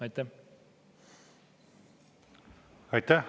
Aitäh!